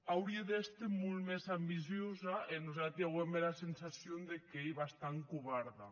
aurie d’èster molt mès ambiciosa e nosati auem era sensacion qu’ei bastant covarda